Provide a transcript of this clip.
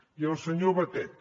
i al senyor batet